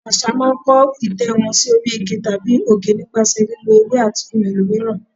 Àwọn Àṣá máa ń kó ìtẹ́ wọn sí orí igi tàbí òkè nípasẹ̀ lílọ ewé àti ohun èlò mìíràn.